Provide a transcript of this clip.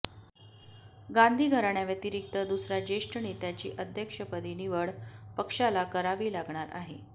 गांधी घराण्याव्यतिरिक्त दुसऱ्या ज्येष्ठ नेत्याची अध्यक्षपदी निवड पक्षाला करावी लागणार आहे